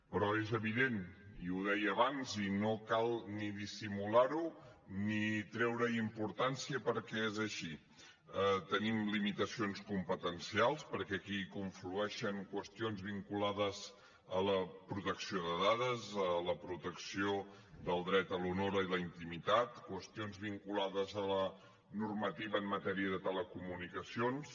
però és evident i ho deia abans i no cal ni dissimular ho ni treure hi importància perquè és així tenim limitacions competencials perquè aquí hi conflueixen qüestions vinculades a la protecció de dades a la protecció del dret a l’honor i a la intimitat qüestions vinculades a la normativa en matèria de telecomunicacions